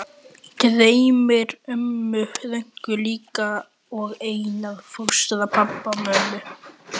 Dreymir ömmu Rönku líka og Einar fóstra, pabba, mömmu